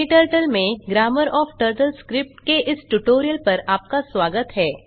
KTurtleमें grammar of TurtleScript के इस tutorial पर आपका स्वागत है